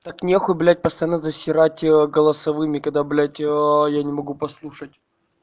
так нехуй блядь постоянно засирать её голосовыми когда блядь я не могу послушать